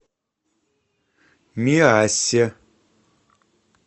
миассе